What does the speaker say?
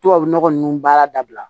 Tubabu nɔgɔ ninnu baara dabila